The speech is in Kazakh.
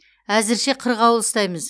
әзірше қырғауыл ұстаймыз